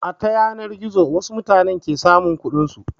A ta yanar gizo wasu mutane ke samun kuɗin su.